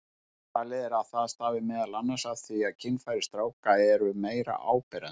Talið er að það stafi meðal annars af því að kynfæri stráka eru meira áberandi.